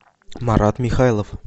марат михайлов